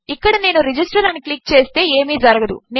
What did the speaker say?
ఇక్కడనేను register అనిక్లిక్చేస్తేఏమీజరగదు